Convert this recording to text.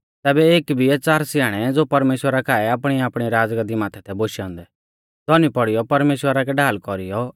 तैबै एक बिऐ च़ार स्याणै ज़ो परमेश्‍वरा काऐ आपणीआपणी राज़गाद्दी माथै थै बोशै औन्दै धौनी पौड़ीयौ परमेश्‍वरा कै ढाल कौरीऔ